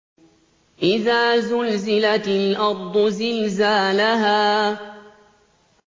إِذَا زُلْزِلَتِ الْأَرْضُ زِلْزَالَهَا